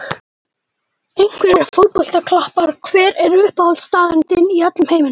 Einhverjir fótboltakappar Hver er uppáhaldsstaðurinn þinn í öllum heiminum?